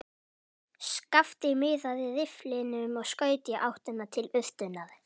Skapti miðaði rifflinum og skaut í áttina til urtunnar.